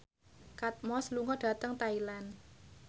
Kate Moss lunga dhateng Thailand